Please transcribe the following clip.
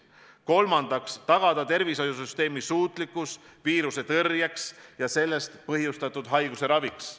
Kolmandaks, tagada tervishoiusüsteemi suutlikkus viiruse tõrjeks ja sellest põhjustatud haiguse raviks.